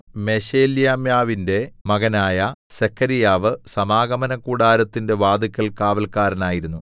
മെശേലെമ്യാവിന്റെ മകനായ സെഖര്യാവു സമാഗമനകൂടാരത്തിന്റെ വാതില്ക്കൽ കാവല്ക്കാരനായിരുന്നു